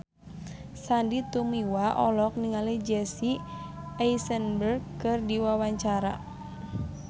Sandy Tumiwa olohok ningali Jesse Eisenberg keur diwawancara